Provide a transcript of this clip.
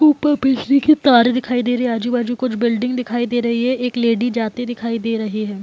ऊपर बिजली की तारें दिखाई दे रही है आजु-बाजु कुछ बिल्डिंग दिखाई दे रही है एक लेडी जाते दखाई दे रहे है ।